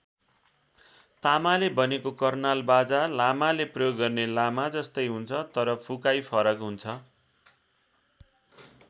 तामाले बनेको कर्नाल बाजा लामाले प्रयोग गर्ने लामा जस्तै हुन्छ तर फुकाइ फरक हुन्छ।